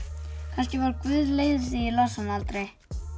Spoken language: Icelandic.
kannski var Guð leiður því ég las hana aldrei